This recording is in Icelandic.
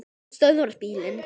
Hann stöðvar bílinn.